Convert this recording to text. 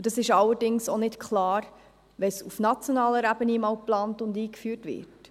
Dies ist allerdings auch nicht klar, wenn es auf nationaler Ebene einmal geplant und eingeführt wird.